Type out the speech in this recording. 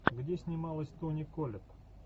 где снималась тони коллетт